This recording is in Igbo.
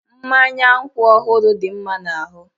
Mmanya nkwụ ọhụrụ dị mma n'ahụ